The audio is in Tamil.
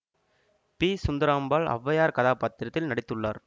பி சுந்தராம்பாள் ஔவையார் கதாபாத்திரத்தில் நடித்துள்ளார்